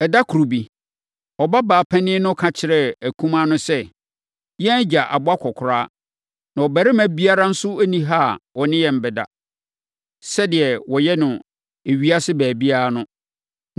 Ɛda koro bi, ɔbabaa panin no ka kyerɛɛ akumaa no sɛ, “Yɛn agya abɔ akɔkoraa, na ɔbarima biara nso nni ha a ɔne yɛn bɛda, sɛdeɛ wɔyɛ no ewiase baabiara no.